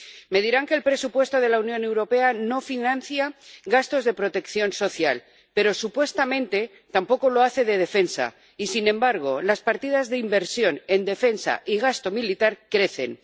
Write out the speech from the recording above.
Me dirán que el presupuesto de la Unión Europea no financia gastos de protección social, pero supuestamente tampoco lo hace de defensa y, sin embargo, las partidas de inversión en defensa y gasto militar crecen.